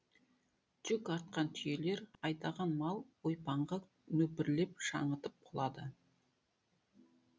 жүк артқан түйелер айдаған мал ойпаңға нөпірлеп шаңытып құлады